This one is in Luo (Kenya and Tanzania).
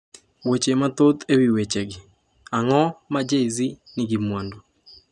Weche mathoth e wi wechegi Ang’o ma Jay-Z nigi mwandu?